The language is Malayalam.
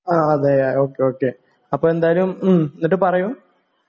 ആ അതേ ഓ കെ ഓ കെ അപ്പോ എന്തായാലും മ്ഹ് എന്നിട്ട് പറയൂ